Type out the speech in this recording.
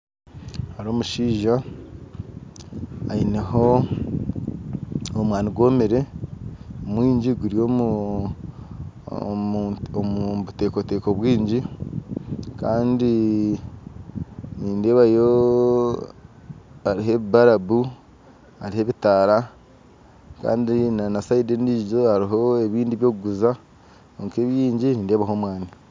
Hariho omushaija aineho omwani gwomere mwingyi guri omu omu omu butekoteko bwingyi kandi nindebaayo hariho barabu hariho ebitaara kandi na na side endijo hariho ebindi by'okuguza kwonka ebingyi nindeebaho omwani